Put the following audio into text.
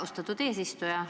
Austatud eesistuja!